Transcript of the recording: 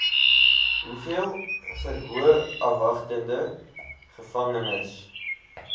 hoeveel verhoorafwagtende gevangenes